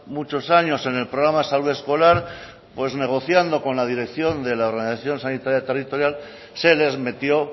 muchos años en el programa salud escolar pues negociando con la dirección de la organización sanitaria territorial se les metió